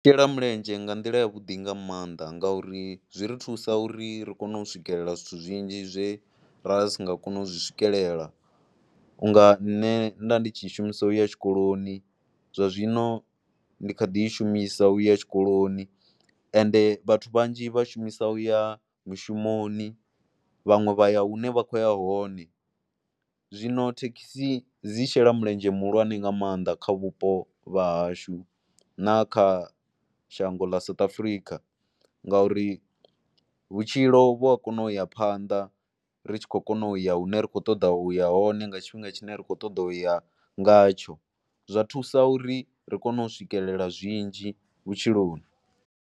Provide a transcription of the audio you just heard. Shela mulenzhe nga nḓila yavhuḓi nga maanḓa ngauri zwi ri thusa uri ri kone u swikelela zwithu zwinzhi zwe ra sa nga koni u zwi swikelela, u nga nṋe nda ndi tshi shumisa ya tshikoloni zwa zwino ndi kha ḓi i shumisa u ya tshikoloni, ende vhathu vhanzhi vha shumisa u ya mushumoni vhaṅwe vha ya hune vha khou ya hone. Zwino thekhisi dzi shela mulenzhe muhulwane nga maanḓa kha vhupo vha hashu na kha shango ḽa South Africa ngauri vhutshilo vhu ya kono u ya phanḓa ri tshi khou kona u ya hune ra khou ṱoḓa u ya hone nga tshifhinga tshine ra khou ṱoḓa u ya ngatsho. Zwa thusa uri ri kone u swikelela zwinzhi vhutshiloni.